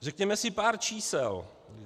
Řekněme si pár čísel.